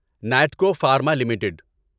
Natco pharma limited